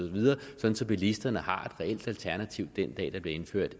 bilisterne har reelt alternativ den dag der bliver indført